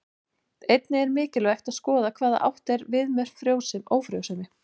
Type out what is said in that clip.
Einnig er mikilvægt að skoða hvað átt er við með ófrjósemi.